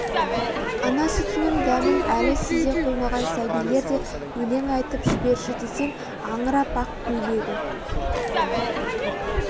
ана сүтінің дәмін әлі сезе қоймаған сәбилер де өлең айтып жіберші десең аңырап ақ көйлегім